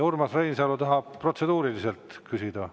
Urmas Reinsalu tahab protseduuriliselt küsida.